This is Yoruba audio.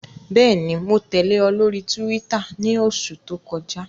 Bẹẹni, Mo tẹle ọ lori Túwìtá ni oṣu to kọja